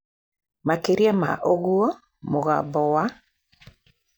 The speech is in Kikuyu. Makĩria ma ũguo, mũgambo wa .